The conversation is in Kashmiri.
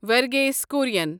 ورگھیس کُرٮ۪ن